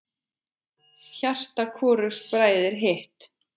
Hjarta hvorugs bræðir hitt.